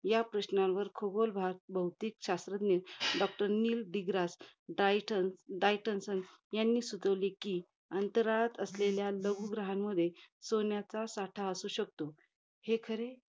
या प्रश्नांवर, खगोल भाग, भौतिक शास्त्रज्ञ doctor नील डीग्रा, डायटल~ डायटलसन्स यांनी सुचवले कि, अंतराळात असलेल्या लघु ग्रहांमध्ये, सोन्याचा साठ असू शकतो. हे खरे,